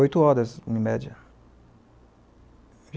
Oito horas, em média.